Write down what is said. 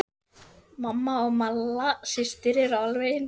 Mamma og Malla systir eru alveg eins.